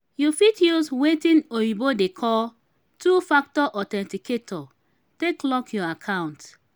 you fit use wetin oyibo dey call two factor authenticator take lock your accounts